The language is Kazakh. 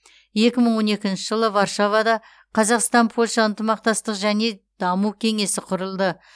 екі мың он екінші жылы варшавада қазақстан польша ынтымақтастық және даму кеңесі құрылды